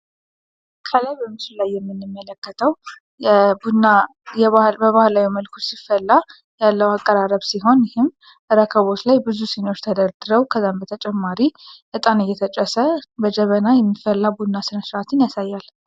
ከላይ በምሱ ላይ የሚንመለከተው በባህላይ መልኩር ሲፈላ ያለው አቀራረብ ሲሆን ይህም ረከቦስ ላይ ብዙ ሲኖች ተደር ድረው ከዛን በተጨማሪ እጣን እየተጨሰ በጀበና የሚፈላ ቡና ስነ ስራትን ያሳያል